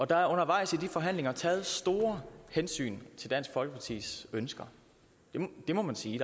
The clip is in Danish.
der er undervejs i forhandlingerne taget store hensyn til dansk folkepartis ønsker det må man sige